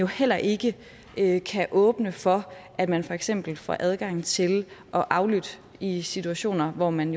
heller ikke kan åbne for at man for eksempel får adgang til at aflytte i situationer hvor man